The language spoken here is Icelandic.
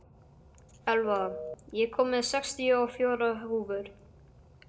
Elva, ég kom með sextíu og fjórar húfur!